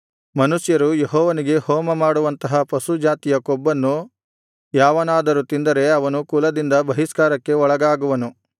ಮನುಷ್ಯರು ಯೆಹೋವನಿಗೆ ಹೋಮಮಾಡುವಂತಹ ಪಶು ಜಾತಿಯ ಕೊಬ್ಬನ್ನು ಯಾವನಾದರೂ ತಿಂದರೆ ಅವನು ಕುಲದಿಂದ ಬಹಿಷ್ಕಾರಕ್ಕೆ ಒಳಗಾಗುವನು